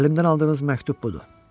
Əlimdən aldığınız məktub budur.